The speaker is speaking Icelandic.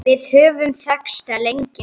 Við höfum þekkst lengi